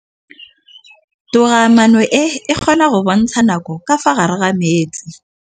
Toga-maanô e, e kgona go bontsha nakô ka fa gare ga metsi.